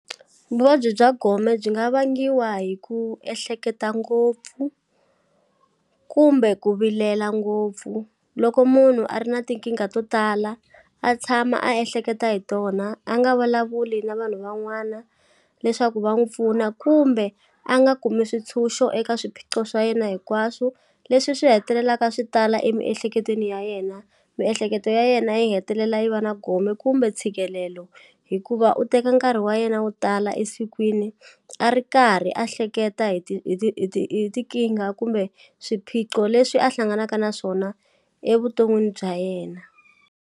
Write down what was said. Vuvabyi bya gome byi nga vangiwa hi ku ehleketa ngopfu kumbe ku vilela ngopfu loko munhu a ri na tinkingha to tala a tshama a ehleketa hi tona a nga valavuli na vanhu van'wana leswaku va n'wu pfuna kumbe a nga kumi swintshunxo eka swiphiqo swa yena hinkwaswo leswi swi hetelelaka swi tala emiehleketweni ya yena miehleketo ya yena yi hetelela yi va na gome kumbe ntshikelelo hikuva u teka nkarhi wa yena wo tala esikwini a ri karhi a hleketa hi ti hi ti hi ti hi tinkingha kumbe swiphiqo leswi a hlanganaka na swona evuton'wini bya yena.